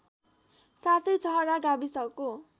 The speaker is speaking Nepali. साथै छहरा गाविसको